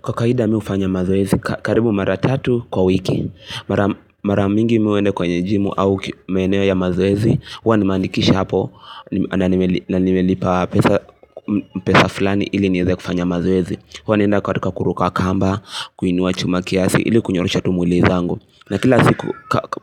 Kwa kawaida mi hufanya mazoezi, karibu mara tatu kwa wiki, mara mingi mi huenda kwenye jimu au maeneo ya mazoezi, huwa nimeandikisha hapo na nimelipa pesa fulani ili nieze kufanya mazoezi. Huwa naenda katika kuruka kamba, kuinua chuma kiasi ili kunyorosha tu mwili zangu. Na kila siku